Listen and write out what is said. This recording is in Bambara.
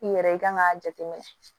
I yɛrɛ i kan k'a jateminɛ